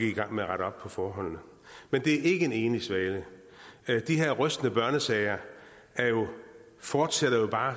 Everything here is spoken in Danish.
i gang med at rette op på forholdene men det er ikke en enlig svale de her rystende børnesager fortsætter jo bare